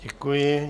Děkuji.